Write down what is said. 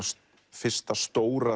fyrsta stóra